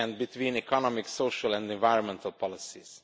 and between economic, social and environmental policies.